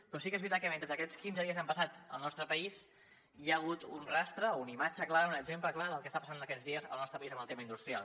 però sí que és veritat que mentre aquests últims quinze dies han passat al nostre país hi ha hagut un rastre o una imatge clara un exemple clar del que està passant aquests dies al nostre país amb el tema industrial